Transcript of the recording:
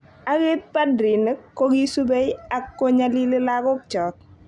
Agit padrinik ko ki subei ak konyalili lagokchok.